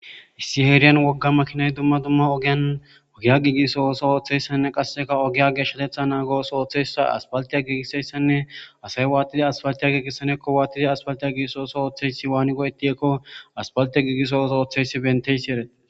Issi eeriyan wogga makinay dumma dumma ogiyan ogiya giigiso oso ooththeyssanne qasseka ogiya geshshatetha naagos ooththessa aspaltiya giigiseyssanne asay wa'attidi asfaltiya giigisanekko waattidi aspaltiya giiso oso ooththeysi waani go'eti'ekko aspaltia gigisooso ooththeysi benteysi eret.